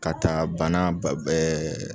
Ka taa bana